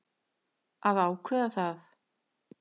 Að ákveða það.